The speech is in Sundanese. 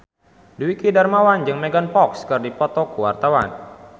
Dwiki Darmawan jeung Megan Fox keur dipoto ku wartawan